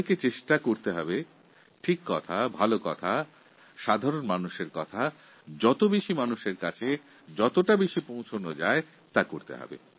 সাধারণ মানুষের কার্যোপযোগী সঠিক ও ভালো বার্তাগুলি অধিক সংখ্যক মানুষের কাছে পৌঁছে দেওয়ার প্রতি আমাদের সচেষ্ট হওয়া উচিত